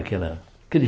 Aquela aquele